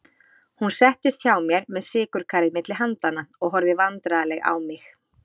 Hún settist hjá mér með sykurkarið milli handanna og horfði vandræðaleg á mig.